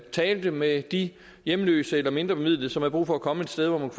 taler med de hjemløse eller mindrebemidlede som har brug for at komme et sted hvor man